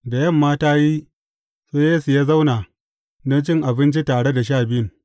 Da yamma ta yi, sai Yesu ya zauna don cin abinci tare da Sha Biyun.